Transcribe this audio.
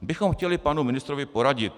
bychom chtěli panu ministrovi poradit.